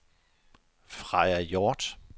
Freja Hjorth